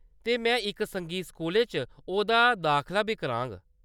ते में इक संगीत स्कूलै च ओह्‌दा दाखला बी कराङ।